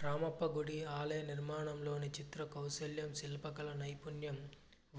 రామప్పగుడి ఆలయ నిర్మాణంలోని చిత్ర కౌశలం శిల్పకళా నైపుణ్యం